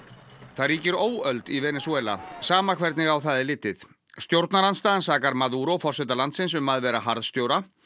það ríkir óöld í Venesúela sama hvernig á það er litið stjórnarandstaðan sakar Maduro forseta landsins um að vera harðstjóri